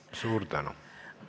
Suur tänu!